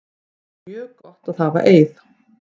Það er mjög gott að hafa Eið.